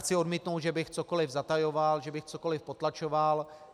Chci odmítnout, že bych cokoliv zatajoval, že bych cokoliv potlačoval.